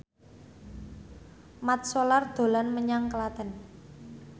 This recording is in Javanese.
Mat Solar dolan menyang Klaten